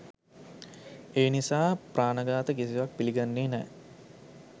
ඒ නිසා ප්‍රාණ ඝාත කිසිවත් පිළිගන්නේ නෑ.